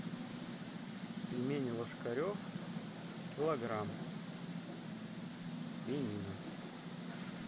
пельмени ложкарев килограмм свинина